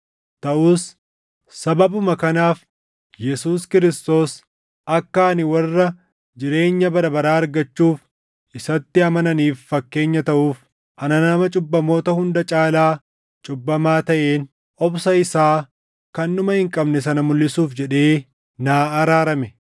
Taʼus sababuma kanaaf Yesuus Kiristoos akka ani warra jireenya bara baraa argachuuf isatti amananiif fakkeenya taʼuuf ana nama cubbamoota hunda caalaa cubbamaa taʼeen obsa isaa kan dhuma hin qabne sana mulʼisuuf jedhee naa araarame.